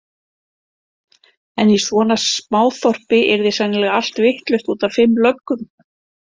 En í svona smáþorpi yrði sennilega allt vitlaust út af fimm löggum.